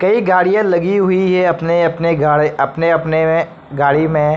कई गाड़ियां लगी हुई है अपने-अपने गाड़ी अपने-अपने में गाड़ी में।